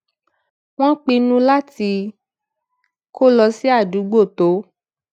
wón pinnu láti kó lọ sí àdúgbò tó